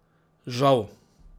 Žal!